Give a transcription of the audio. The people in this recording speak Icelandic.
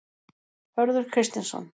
Hörður Kristinsson.